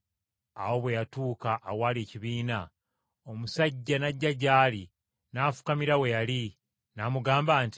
Awo bwe yatuuka awaali ekibiina, omusajja n’ajja gy’ali n’afukamira we yali, n’amugamba nti,